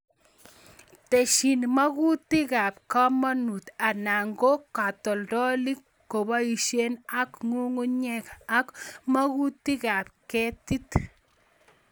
Tesyin mokutikab komonut ana ko katoltolik kosipkei ak ng'ungunyek ak mokutikab ketit.